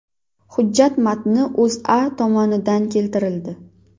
Hujjat matni O‘zA tomonidan keltirildi.